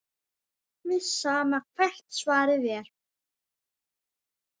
Alveg sama hvert svarið er.